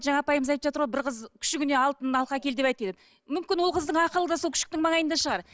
жаңа апайымыз айтып жатыр ғой бір қыз күшігіне алтын алқа әкел деп айтты деп мүмкін ол қыздың ақылы да сол күшіктің маңайында шығар